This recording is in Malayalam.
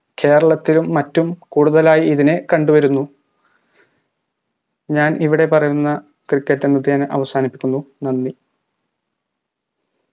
കേരളത്തിലും മറ്റും കൂടുതലായി ഇതിനെ കണ്ടുവരുന്നു ഞാനിവിടെ പറയുന്ന cricket അവസാനിപ്പിക്കുന്നു നന്ദി